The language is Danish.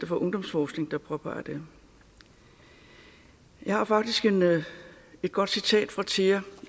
for ungdomsforskning der påpeger det jeg har faktisk et godt citat fra thea